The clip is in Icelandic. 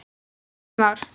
Í næstum ár.